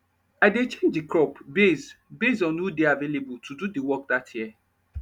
i dey change de crop base base on who dey available to do de work dat year